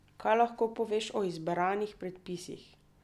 Kaj lahko poveš o izbranih predpisih?